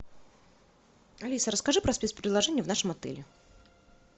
алиса расскажи про спец предложения в нашем отеле